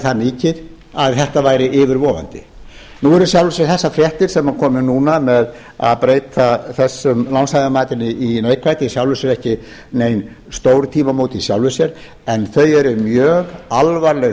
það mikið að þetta væri yfirvofandi nú eru í sjálfu sér þessar fréttir sem komu núna með að breyta þessu lánshæfismati í neikvætt í sjálfu sér ekki nein stórtímamót í sjálfu sér en þau eru mjög alvarleg